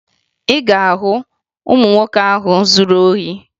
Anyị ga-ahụ ụmụ nwoke ahụ zuru ohi